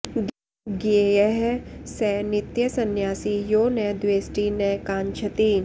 ज्ञेयः स नित्यसंन्यासी यो न द्वेष्टि न काङ्क्षति